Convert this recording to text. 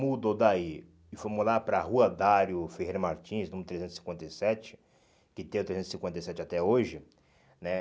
mudou daí e foi mudar para rua Dário Ferreira Martins, número trezentos e cinquenta e sete, que tem o trezentos e cinquenta e sete até hoje, né?